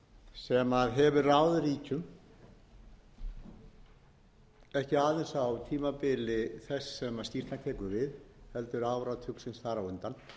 sem hefur ráðið ríkjum ekki aðeins á tímabili þess sem skýrslan tekur við heldur áratugarins þar á undan